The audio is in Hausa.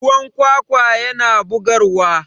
ruwan kwakwa yana bugarwa